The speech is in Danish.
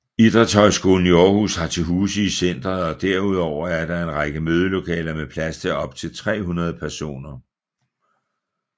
Idrætshøjskolen Århus har til huse i centret og herudover er der en række mødelokaler med plads til optil 300 personer